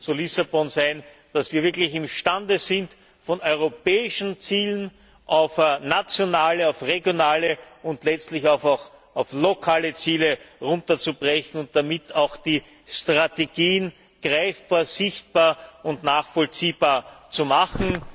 zu Lissabon sein, dass wir wirklich imstande sind, von europäischen Zielen auf nationale, regionale und letztlich auch auf lokale Ziele herunterzubrechen und damit auch die Strategien greifbar, sichtbar und nachvollziehbar zu machen.